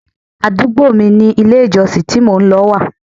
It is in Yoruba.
Àdúgbò mi ni ilé ìjọsìn tí mò ń lọ wà.